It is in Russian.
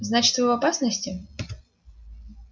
значит вы в опасности